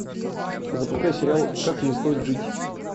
запускай сериал как не стоит жить